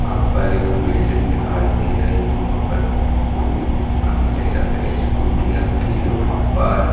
वहा पर एक बिल्डिंग दिखाई दे रही हो वहां पर कुछ फूल कुछ गमले रखे स्कूटी रखी है वहां पर।